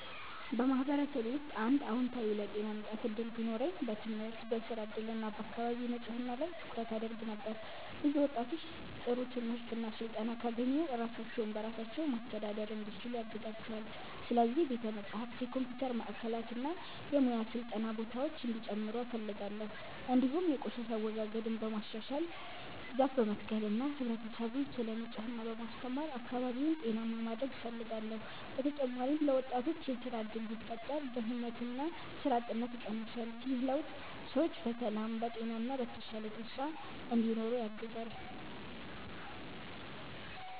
በማህበረሰቤ ውስጥ አንድ አዎንታዊ ለውጥ የማምጣት እድል ቢኖረኝ በትምህርት፣ በሥራ እድል እና በአካባቢ ንጽህና ላይ ትኩረት አደርግ ነበር። ብዙ ወጣቶች ጥሩ ትምህርት እና ስልጠና ካገኙ ራሳቸውን በራሳቸው ማስተዳደር እንዲችሉ ያግዛቸዋል። ስለዚህ ቤተ መጻሕፍት፣ የኮምፒውተር ማዕከላት እና የሙያ ስልጠና ቦታዎች እንዲጨምሩ እፈልጋለሁ። እንዲሁም የቆሻሻ አወጋገድን በማሻሻል፣ ዛፍ በመትከል እና ህብረተሰቡን ስለ ንጽህና በማስተማር አካባቢውን ጤናማ ማድረግ እፈልጋለሁ። በተጨማሪም ለወጣቶች የሥራ እድል ቢፈጠር ድህነትና ሥራ አጥነት ይቀንሳል። ይህ ለውጥ ሰዎች በሰላም፣ በጤና እና በተሻለ ተስፋ እንዲኖሩ ያግዛል።